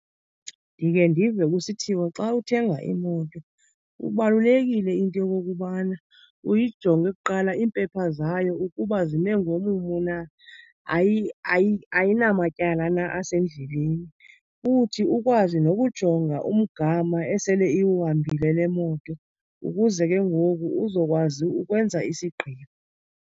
Ndike ndive kusithiwa xa uthenga imoto kubalulekile into yokokubana uyijonge kuqala iimpepha zayo ukuba zime ngomumo na, ayinamatyala na asendleleni. Futhi ukwazi nokujonga umgama esele iwuhambile le moto ukuze ke ngoku uzokwazi ukwenza isigqibo.